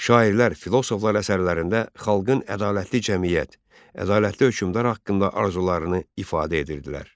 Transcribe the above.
Şairlər, filosoflar əsərlərində xalqın ədalətli cəmiyyət, ədalətli hökmdar haqqında arzularını ifadə edirdilər.